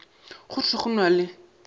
go thwe go na le